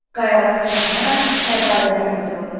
qayalar çapılaraq sərdabələr hazırlanırdı.